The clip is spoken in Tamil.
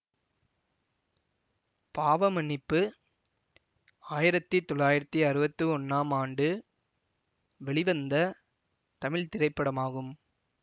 பாவ மன்னிப்பு ஆயிரத்தி தொள்ளாயிரத்தி அறுவத்தி ஒன்னாம் ஆண்டு வெளிவந்த தமிழ் திரைப்படமாகும்